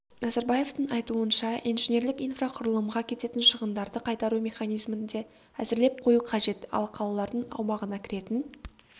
назарбаевтың айтуынша инженерлік инфрақұрылымға кететін шығындарды қайтару меіанизмін де әзірлеп қою қажет ал қалалардың аумағына кіретін